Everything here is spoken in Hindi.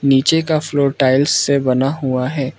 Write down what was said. नीचे का फ्लोर टाइल्स से बना हुआ है।